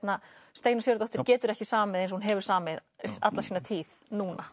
Steinunn Sigurðardóttir getur ekki samið eins og hún hefur samið alla sína tíð núna